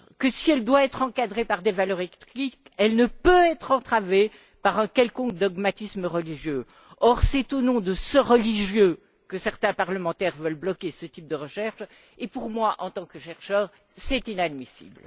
Si elle doit être encadrée par des valeurs éthiques, elle ne peut être entravée par un quelconque dogmatisme religieux. Or, c'est au nom du religieux que certains parlementaires veulent bloquer ce type de recherches et pour moi, en tant que chercheur, c'est inadmissible.